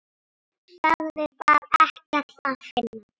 Sögðu þar ekkert að finna.